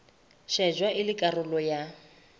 shejwa e le karolo ya